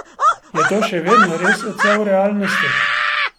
Je to še vedno res odsev realnosti?